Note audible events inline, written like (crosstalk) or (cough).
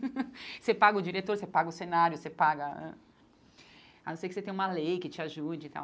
(laughs) Você paga o diretor, você paga o cenário, você paga... Ah A não ser que você tenha uma lei que te ajude e tal.